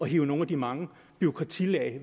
hive nogle af de mange bureaukratilag